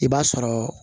I b'a sɔrɔ